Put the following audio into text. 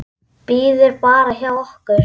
Bíður bara hjá okkur!